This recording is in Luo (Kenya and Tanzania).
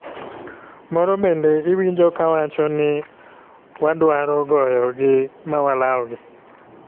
Moro bende iwinjo ka wacho ni wadwaro goyo gi ma walaw gi.